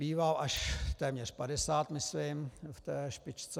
Býval až téměř 50, myslím, v té špičce.